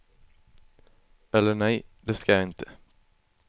Eller nej, det ska jag inte.